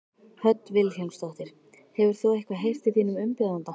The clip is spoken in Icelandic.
Hödd Vilhjálmsdóttir: Hefur þú eitthvað heyrt í þínum umbjóðanda?